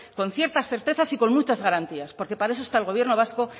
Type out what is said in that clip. con ciertas certezas y con muchas garantías porque para eso está el gobierno vasco